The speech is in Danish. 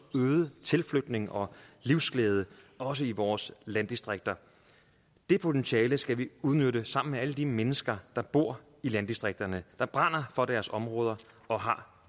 øget tilflytning og livsglæde også i vores landdistrikter det potentiale skal vi udnytte sammen med alle de mennesker der bor i landdistrikterne der brænder for deres områder og har